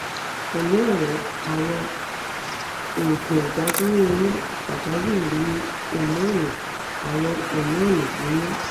pẹ̀lẹ́ ọ̀rẹ́ àwọn òògùn ìdádúró oyún pàjáwìrì ní hómónì (àwọn hómónì) nínú